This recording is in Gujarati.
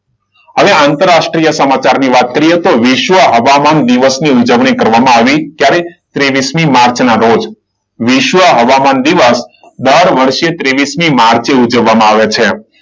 હવે આંતરરાષ્ટ્રીય સમાચાર ની વાત કરીએ તો વિશ્વ હવામાન દિવસની ઉજવણી કરવામાં આવી. ક્યારે? ત્રેવીસ માર્ચના રોજ વિશ્વ હવામાન દિવસ દર વર્ષે ત્રેવીસમી માર્ચે ઉજવવામાં આવે છે.